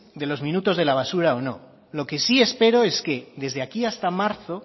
de los minutos de la basura o no lo que sí espero es que desde aquí hasta marzo